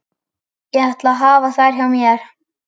Ég ætla að hafa þær hjá mér.